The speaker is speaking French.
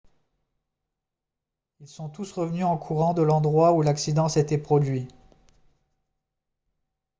ils sont tous revenus en courant de l'endroit où l'accident s'était produit